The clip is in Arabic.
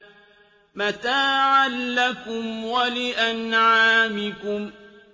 مَّتَاعًا لَّكُمْ وَلِأَنْعَامِكُمْ